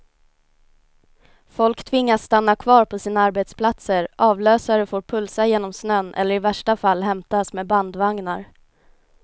Folk tvingas stanna kvar på sina arbetsplatser, avlösare får pulsa genom snön eller i värsta fall hämtas med bandvagnar.